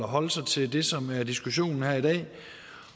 holde sig til det som er diskussionen her i dag